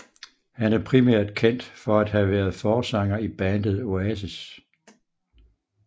Han er primært kendt for at have været forsanger i bandet Oasis